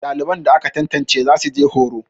daliban da aka tantance za su je horo